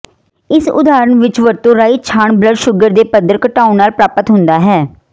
ਇਸ ਉਦਾਹਰਨ ਵਿੱਚ ਵਰਤੋ ਰਾਈ ਛਾਣ ਬਲੱਡ ਸ਼ੂਗਰ ਦੇ ਪੱਧਰ ਘਟਾਉਣ ਨਾਲ ਪ੍ਰਾਪਤ ਹੁੰਦਾ ਹੈ